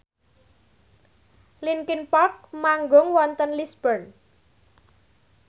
linkin park manggung wonten Lisburn